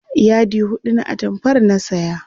yadi huɗu na atamfar na saya